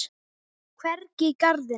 Hvergi í garðinum.